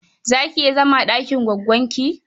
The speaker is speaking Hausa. Za ki iya zama a ɗakin goggonki?